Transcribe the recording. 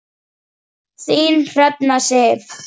Þín Hrefna Sif.